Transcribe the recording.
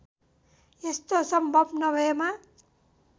यस्तो सम्भव नभएमा